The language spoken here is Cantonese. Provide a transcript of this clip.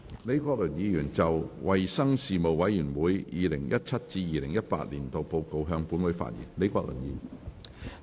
李國麟議員就"衞生事務委員會 2017-2018 年度報告"向本會發言。